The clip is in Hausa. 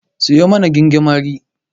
Siyo mana gingimari.